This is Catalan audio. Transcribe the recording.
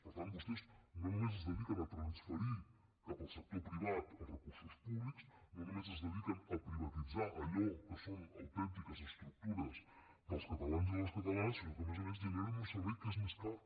per tant vostès no només es dediquen a transferir cap al sector privat els recursos públics no només es dediquen a privatitzar allò que són autèntiques estructures dels catalans i les catalanes sinó que a més a més generen un servei que és més car